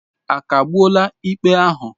A kagbuola ikpe ahụ?